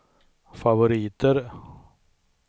favoriter